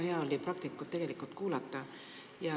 Väga hea oli praktikut kuulata.